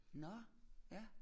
Nåh ja